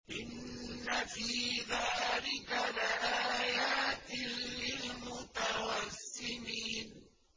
إِنَّ فِي ذَٰلِكَ لَآيَاتٍ لِّلْمُتَوَسِّمِينَ